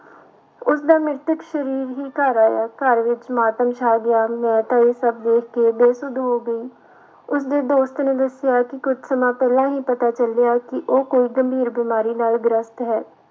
ਉਸਦਾ ਮ੍ਰਿਤਕ ਸਰੀਰ ਹੀ ਘਰ ਆਇਆ ਘਰ ਵਿੱਚ ਮਾਤਮ ਸ਼ਾਅ ਗਿਆ, ਮੈਂ ਤਾਂ ਇਹ ਸਭ ਦੇਖ ਕੇ ਬੇਸੁੱਧ ਹੋ ਗਈ, ਉਸਦੇ ਦੋਸਤ ਨੇ ਦੱਸਿਆ ਕਿ ਕੁਛ ਸਮਾਂ ਪਹਿਲਾਂ ਹੀ ਪਤਾ ਚੱਲਿਆ ਕਿ ਉਹ ਕੋਈ ਗੰਭੀਰ ਬਿਮਾਰੀ ਨਾਲ ਗ੍ਰਸਤ ਹੈ।